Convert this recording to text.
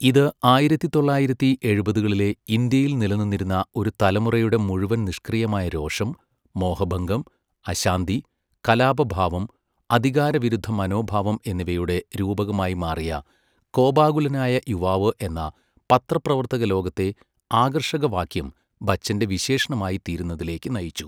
ഇത് ആയിരത്തി തൊള്ളായിരത്തി എഴുപതുകളിലെ ഇന്ത്യയിൽ നിലനിന്നിരുന്ന ഒരു തലമുറയുടെ മുഴുവൻ നിഷ്ക്രിയമായ രോഷം, മോഹഭംഗം, അശാന്തി, കലാപഭാവം, അധികാരവിരുദ്ധ മനോഭാവം എന്നിവയുടെ രൂപകമായി മാറിയ 'കോപാകുലനായ യുവാവ് ' എന്ന പത്രപ്രവർത്തകലോകത്തെ ആകർഷകവാക്യം ബച്ചൻ്റെ വിശേഷണമായിത്തീരുന്നതിലേക്ക് നയിച്ചു.